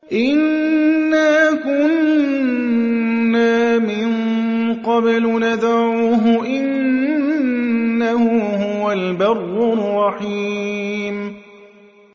إِنَّا كُنَّا مِن قَبْلُ نَدْعُوهُ ۖ إِنَّهُ هُوَ الْبَرُّ الرَّحِيمُ